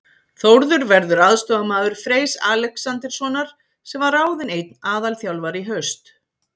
Þórður verður aðstoðarmaður Freys Alexanderssonar sem var ráðinn einn aðalþjálfari í haust.